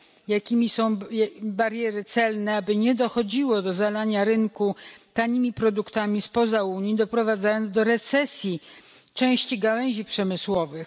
Jakie są bariery celne, aby nie dochodziło do zalania rynku tanimi produktami spoza Unii, doprowadzając do recesji części gałęzi przemysłowych?